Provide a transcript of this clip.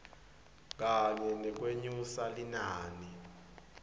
kanye nekwenyusa linani